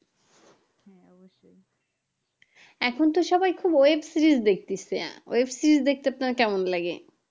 এখন তো সবাই খুব web series দেখতিসে web series দেখতে আপনার কেমন লাগে?